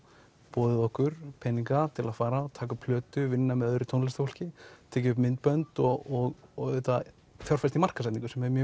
boðið okkur peninga til að fara taka upp plötu og vinna með öðru tónlistarfólki tekið upp myndbönd og auðvitað fjárfest í markaðssetningu sem er mjög